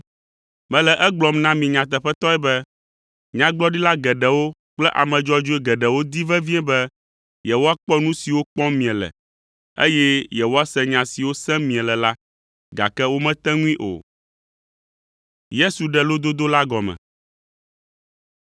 Mele egblɔm na mi nyateƒetɔe be, nyagblɔɖila geɖewo kple ame dzɔdzɔe geɖewo di vevie be yewoakpɔ nu siwo kpɔm miele, eye yewoase nya siwo sem miele la, gake womete ŋui o.